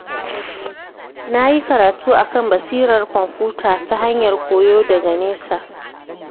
Na yi karatu a kan basirar kwamfuta ta hanyar koyo daha nesa.